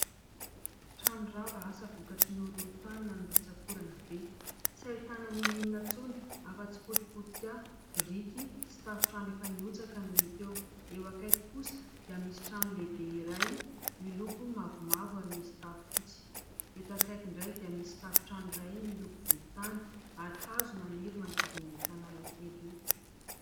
Trano rava, asa vokatry ny horohorontany na ny rotsa-korana be. Tsy ahitana ninoninona intsony hafa tsy potipotika biriky sy tafontrano efa niotsaka no hita eo. Eo akaiky kosa dia misy trano lehibe iray miloko mavomavo ary misy tafo fotsy. Eto akaiky indray dia misy tafontrano iray miloko volontany ary hazo maniry manodidina an'io tanàna kely io.